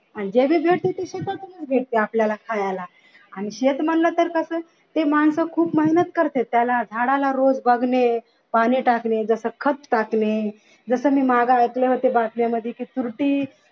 आणि जे भी भेटते ते शेतातच भेटते आपल्याला खायला आणि शेत म्हंटल तर ते माणसं खकूप मेहनत करत्यात त्याला झाडाला रोज बघणे जस खत टाकणे जस मी मागे ऐकले होते बागांमध्ये कि तुरटी